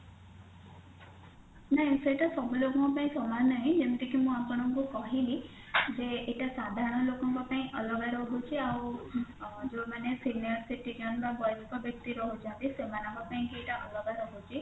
ନାଇଁ ସେଇଟା ସବୁ ଲୋକଙ୍କ ଙ୍କ ପାଇଁ ସମାନ ନାହିଁ ଯେମିତି କି ମୁଁ ଆପଣଙ୍କୁ କହିଲି ଯେ ଏଇଟା ସାଧାରଣ ଲୋକଙ୍କ ପାଇଁ ଅଲଗା ରହୁଛି ଆଊ ଅ ଯୋଉମାନେ senior citizen ର ବୟସ୍କ ବ୍ୟକ୍ତି ରହୁଛନ୍ତି ସେମାନଙ୍କ ପାଇଁ କି ଏଇଟା ଅଲଗା ରହୁଛି